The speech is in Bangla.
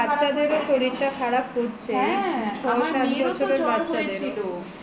বাচ্ছাদের শরীর খারাপ হচ্ছে ছয় সাত বছরের বাচ্ছাদেরও